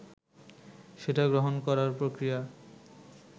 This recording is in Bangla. সেটা গ্রহণ করার প্রক্রিয়া